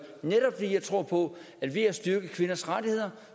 netop fordi jeg tror på at ved at styrke kvinders rettigheder